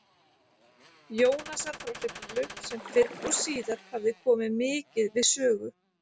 Jónasar frá Hriflu, sem fyrr og síðar hafði komið mikið við sögu